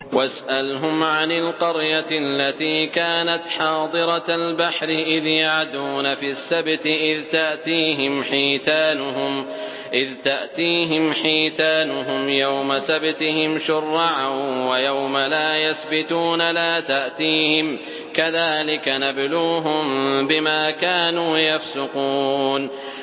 وَاسْأَلْهُمْ عَنِ الْقَرْيَةِ الَّتِي كَانَتْ حَاضِرَةَ الْبَحْرِ إِذْ يَعْدُونَ فِي السَّبْتِ إِذْ تَأْتِيهِمْ حِيتَانُهُمْ يَوْمَ سَبْتِهِمْ شُرَّعًا وَيَوْمَ لَا يَسْبِتُونَ ۙ لَا تَأْتِيهِمْ ۚ كَذَٰلِكَ نَبْلُوهُم بِمَا كَانُوا يَفْسُقُونَ